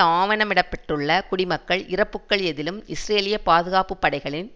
ஆவணமிடப்பட்டுள்ள குடிமக்கள் இறப்புக்கள் எதிலும் இஸ்ரேலிய பாதுகாப்பு படைகளின்